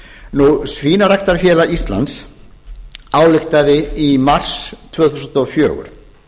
eyði svínaræktarfélag ísland ályktaði í mars tvö þúsund og fjögur